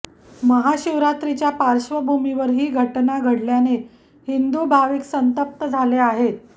महाशिवरात्रीच्या पार्श्वभूमीवर ही घटना घडल्याने हिंदू भाविक संतप्त झाले आहेत